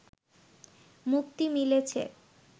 মুক্তি মিলেছে